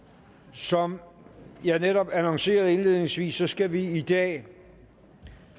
som jeg netop annoncerede indledningsvis skal vi i dag